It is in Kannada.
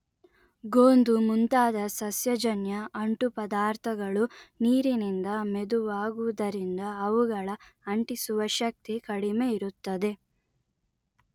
ಗೋಂದು ಮುಂತಾದ ಸಸ್ಯಜನ್ಯ ಅಂಟುಪದಾರ್ಥಗಳು ನೀರಿನಿಂದ ಮೆದುವಾಗುವುದರಿಂದ ಅವುಗಳ ಅಂಟಿಸುವ ಶಕ್ತಿ ಕಡಿಮೆ ಇರುತ್ತದೆ